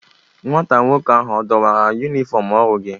Nwata nwoke ahu a dọwara yumifọm ọrụ gị?